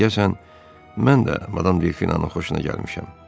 Deyəsən mən də Madam Delfinanın xoşuna gəlmişəm.